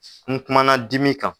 N kumana dimi kan.